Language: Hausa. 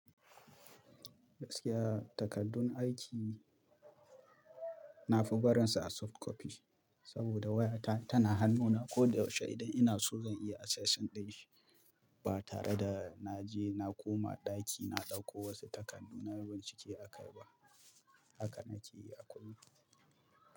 Gaskiya takardun aiki nafi barinsa a soft copy saboda waya ta, tana hannuna ko da yaushe idan ina so zan iya access ɗin shi ba tare da na je na koma ɗaki na ɗauko wasu takardu na yi bincike akai ba. Haka na ke yi a kullum.